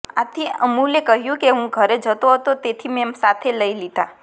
આથી અમુલે કહ્યુ કે હું ઘેર જતો હતો તેથી મેં સાથે લઈ લીધા